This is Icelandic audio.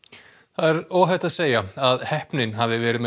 er óhætt að segja að heppnin hafi verið með